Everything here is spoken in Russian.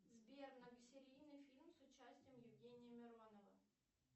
сбер многосерийный фильм с участием евгения миронова